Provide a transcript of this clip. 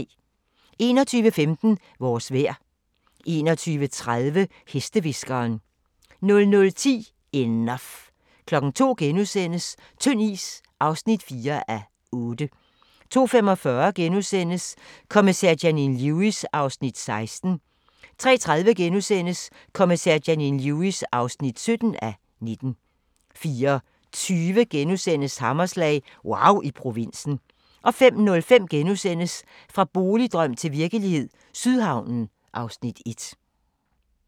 21:15: Vores vejr 21:30: Hestehviskeren 00:10: Enough 02:00: Tynd is (4:8)* 02:45: Kommissær Janine Lewis (16:19)* 03:30: Kommissær Janine Lewis (17:19)* 04:20: Hammerslag – wauw i provinsen * 05:05: Fra boligdrøm til virkelighed – Sydhavnen (Afs. 1)*